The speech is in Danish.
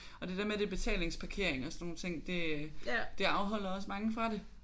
Og det der med at det er betalingsparkering og sådan nogle ting det det afholder også mange fra det